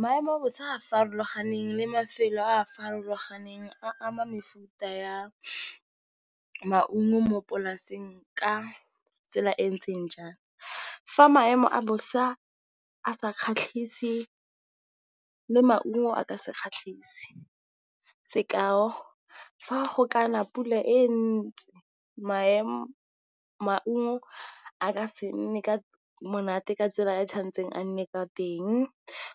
Maemo a bosa a a farologaneng le mafelo a a farologaneng a ama mefuta ya maungo mo polaseng ka tsela e ntseng jang?, fa maemo a bosa a sa kgatlhise maungo a ka se kgatlhise sekao, fa go kana pula e ntsi maemo a ka se nne monate ka tsela e e tshwanetseng a nne ka teng eng